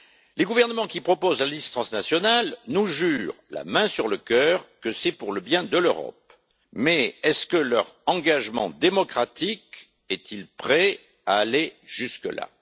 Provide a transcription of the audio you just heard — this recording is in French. Les gouvernements qui proposent la liste transnationale nous jurent la main sur le cœur que c'est pour le bien de l'Europe, mais leur engagement démocratique est il prêt à aller jusque là?